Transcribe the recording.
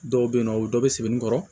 Dɔw bɛ yen nɔ o bɛ dɔ bɛ sebeninkɔrɔ